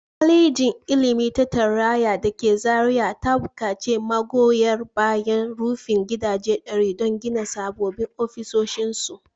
Kwalejin Ilimi ta Tarayya da ke Zariya ta bukaci magoya bayan rufin gidaje ɗari don gina sabbin ofisoshinsu